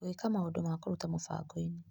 Gwĩka maũndũ ma kũruta mũbango-inĩ .